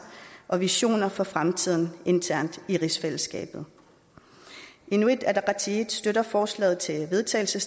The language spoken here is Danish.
og visioner for fremtiden internt i rigsfællesskabet inuit ataqatigiit støtter forslaget til vedtagelse